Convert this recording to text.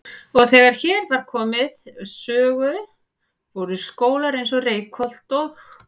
Og þegar hér var komið sögu voru skólar eins og Reykholt og